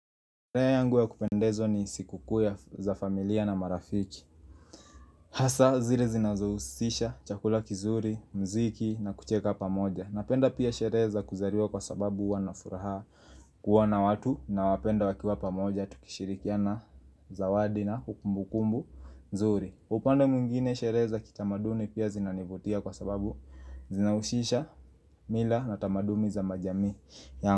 Raha yangu ya kupendezwa ni siku kuu za familia na marafiki Hasa zile zinazohusisha chakula kizuri, mziki na kucheka pamoja Napenda pia sherehe za kuzaliwa kwa sababu wanafuraha kuwa na watu nawapenda wakiwa pamoja tukishirikiana zawadi na kumbu kumbu mzuri upande mwingine sherehe za kitamaduni pia zinanivutia kwa sababu zinahushisha mila na tamadumi za majamii.